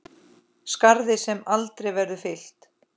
Skarð sem aldrei verður fyllt.